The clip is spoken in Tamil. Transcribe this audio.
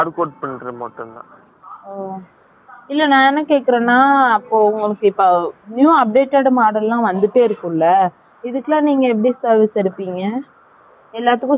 ஓ. இல்லை, நான் என்ன கேட்கிறேன்னா, அப்போ, உனக்கு இப்போ, new updated model லாம், வந்துட்டே இருக்கும்ல. இதுக்குலாம் நீங்க எப்படி service எடுப்பீங்க? எல்லாத்துக்கும் same ஒரே மாதிரிதான் இருக்குமா?